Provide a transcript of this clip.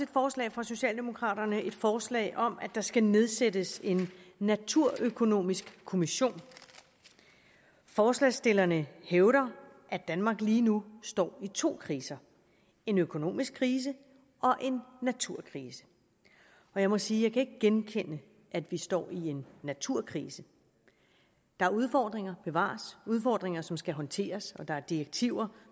forslag fra socialdemokraterne et forslag om at der skal nedsættes en naturøkonomisk kommission forslagsstillerne hævder at danmark lige nu står i to kriser en økonomisk krise og en naturkrise jeg må sige kan genkende at vi står i en naturkrise der er udfordringer bevares udfordringer som skal håndteres og der er direktiver